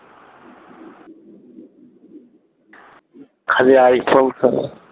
খালি আইফোন চালা